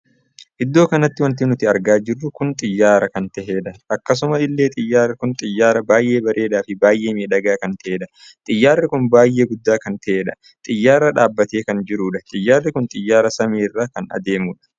Iddoo kanatti wanti nuti argaa jirru kun xiyyaara kan tahedha. akkasuma illee xiyyaarri kun xiyyaara baay'ee bareedaa Fi baay'ee miidhagaa kan taheedha. xiyyaarri kun baay'ee guddaa kan. tahedha. xiyyaarri dhaabbattee kan jirudha. xiyyaarri kun xiyyaara samii irra kan adeemudha.